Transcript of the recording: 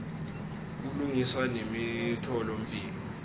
kulungiswa nemitfola mphilo